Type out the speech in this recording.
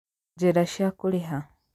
Njĩra cia Kũrĩha: